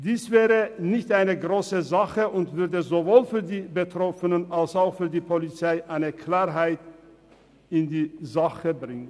Dies wäre keine grosse Sache und würde sowohl für die Betroffenen als auch für die Polizei Klarheit schaffen.